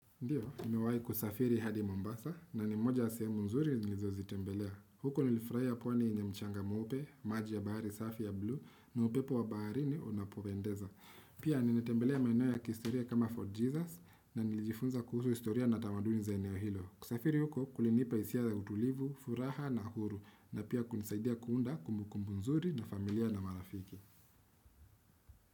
Ndiyo, nimewahi kusafiri hadi Mombasa na ni moja ya sehemu nzuri nilizozitembelea. Huko nilifurahia pwani ni mchanga mweupe, maji ya bahari safi ya blue, na upepo wa baharini unapopendeza. Pia nimetembelea maeneo ya kihistoria kama Fort Jesus na nilijifunza kuhusu historia na tamaduni za eneo hilo. Kusafiri huku kulinipa hisia ya utulivu, furaha na huru na pia kunisaidia kuunda kumbukumbu nzuri na familia na marafiki.